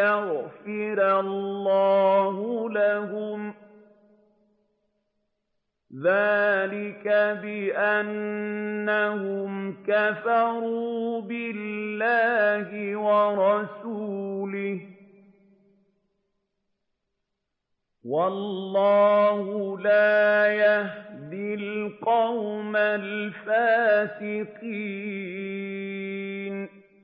يَغْفِرَ اللَّهُ لَهُمْ ۚ ذَٰلِكَ بِأَنَّهُمْ كَفَرُوا بِاللَّهِ وَرَسُولِهِ ۗ وَاللَّهُ لَا يَهْدِي الْقَوْمَ الْفَاسِقِينَ